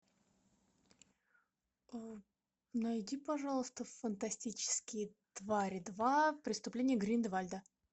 найди пожалуйста фантастические твари два преступления грин де вальда